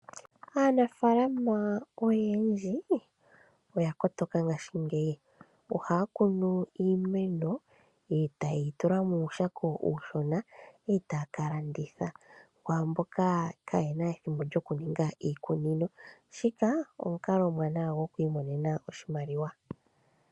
Aanafalama oyendji oyakotoka ngaashingeiyi ohaya kunu uumeno eta ye yi tula muushako uushona eta kalanditha kwamboka kayena ethimbo lyo kuninga iikunino shika omukalo omwanawa gookwii monena oshimaliwa.